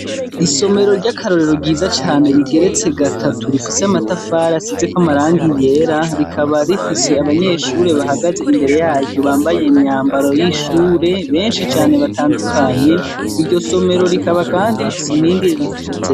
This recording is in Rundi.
Isomero ryakarorero ryiza cane rigeretse gatatu rifise amatafari asizeko amarangi yera rikaba rifise abanyeshure bahagaze imbere yaryo bambaye imyambaro yabanyeshure benshi cane batandukanye, iryo somero kandi rikaba rifise inkingi ririfashitseko.